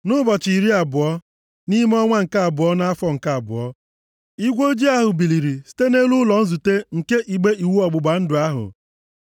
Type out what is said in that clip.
Nʼụbọchị iri abụọ, nʼime ọnwa nke abụọ, nʼafọ nke abụọ, igwe ojii ahụ biliri site nʼelu ụlọ nzute nke igbe iwu ọgbụgba ndụ ahụ.